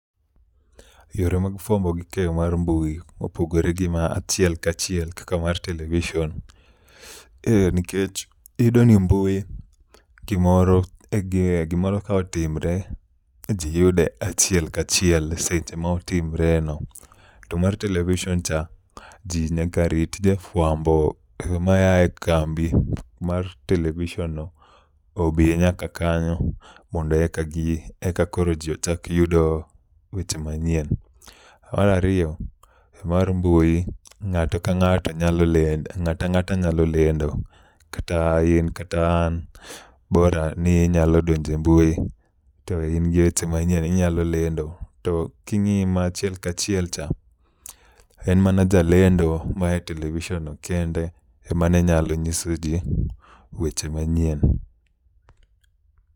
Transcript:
Yore mag fwambo gi keyo mar mbui opogore gi mar achiel kachiel kaka mar television nikech iyudo ni mbui, gimoro ka otimre, ji yude achiel kachiel seche ma otimreno. To mar television cha, ji nyaka rit jafwambo maya e kambi mar television no, obi nyaka kanyo mondo eka koro ji ochak yudo weche manyien. Mar ariyo, mar mbui ng'ato ka ng'ato nyalo lendo, ng ata ng'ata nyalo lendo, kata in kata an, bora ninyalo donjo e mbui to in gi weche manyien, inyalo lendo. To king'i ma achiel ka chiel cha, en mana jalendo maya e television no kende ema ne nyalo nyiso ji weche manyien.